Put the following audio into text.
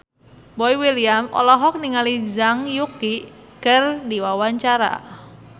Boy William olohok ningali Zhang Yuqi keur diwawancara